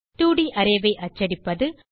2ட் arrayஐ அச்சடிப்பது